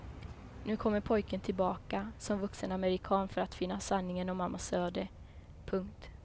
Nu kommer pojken tillbaka som vuxen amerikan för att finna sanningen om mammas öde. punkt